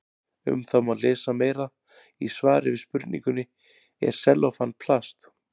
Um það má lesa meira í svari við spurningunni Er sellófan plast?